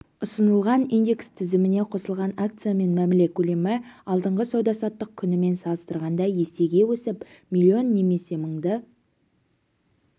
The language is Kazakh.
ұсынылған индекс тізіміне қосылған акциямен мәміле көлемі алдыңғы сауда-саттық күнімен салыстырғанда есеге өсіп миллион немесе мыңды